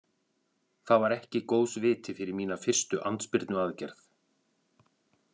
Það var ekki góðs viti fyrir mína fyrstu andspyrnuaðgerð.